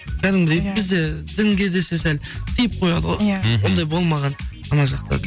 кәдімгідей бізде дінге десе сәл тиіп қояды ғой мхм ондай болмаған ана жақта